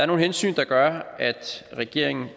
nogle hensyn der gør at regeringen